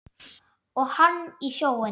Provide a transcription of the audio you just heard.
Og hann í sjóinn.